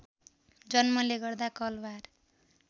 जन्मले गर्दा कलवार